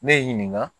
Ne y'i ɲininka